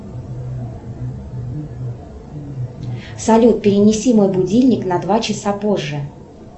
салют перенеси мой будильник на два часа позже